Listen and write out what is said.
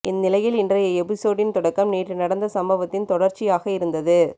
இந்நிலையில் இன்றைய எபிசோடின் தொடக்கம் நேற்று நடந்த சம்பவத்தின் தொடர்ச்சியாக இருந்தது